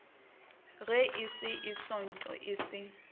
raese e sootho e se